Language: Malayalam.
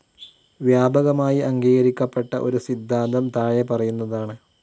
വ്യാപകമായി അംഗീകരിക്കപ്പെട്ട ഒരു സിദ്ധാന്തം താഴെ പറയുന്നതാണ്.